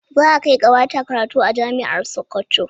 Za a kai ƙawata karatu a jami'ar Sokoto.